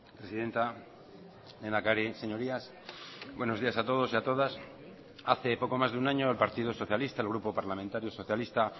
presidenta lehendakari señorías buenos días a todos y a todas hace poco más de un año el partido socialista el grupo parlamentario socialista